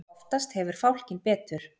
Oftast hefur fálkinn betur.